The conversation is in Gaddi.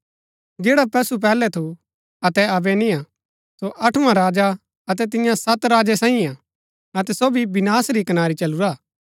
जैडा पशु पैहलै थू अतै अबै निय्आ सो अठुँवा राजा हा अतै तिन्या सत राजा सांईयै हा अतै सो भी विनाश री कनारी चलुरा हा